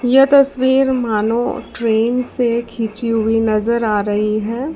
यह तस्वीर मानो ट्रेन से खींची हुई नजर आ रही है।